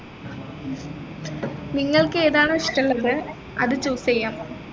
നിങ്ങൾക്ക് ഏതാണോ ഇഷമുള്ളത് അത് choose ചെയ്യാം